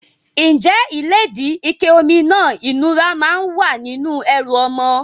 Ǹjẹ́ ìlédìí, ike omi náà ìnura máa ń wà nínú ẹrù ọmọ?